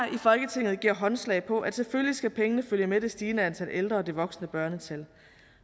i folketinget giver håndslag på at selvfølgelig skal pengene følge med det stigende antal ældre og det voksende børnetal